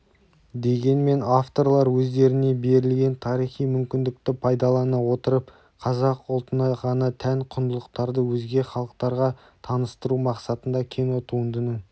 дегенмен авторлар өздеріне берілген тарихи мүмкіндікті пайдалана отырып қазақ ұлтына ғана тән құндылықтарды өзге халықтарға таныстыру мақсатында кинотуындының